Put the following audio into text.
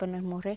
Para nós morrer?